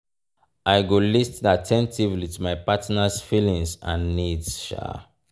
i go lis ten at ten tively to my partner’s feelings and needs.